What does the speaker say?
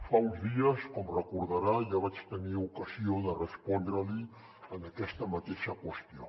fa uns dies com deu recordar ja vaig tenir ocasió de respondre li aquesta mateixa qüestió